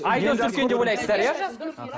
айдос үлкен деп ойлайсыздар иә